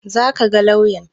Za ka ga lauyan?